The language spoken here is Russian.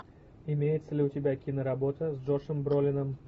имеется ли у тебя киноработа с джошем бролином